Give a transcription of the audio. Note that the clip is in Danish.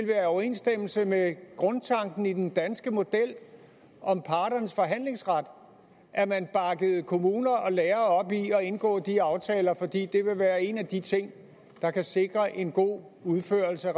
være i overensstemmelse med grundtanken i den danske model om parternes forhandlingsret at man bakkede kommuner og lærere op i at indgå de aftaler fordi det vil være en af de ting der kan sikre en god udførelse af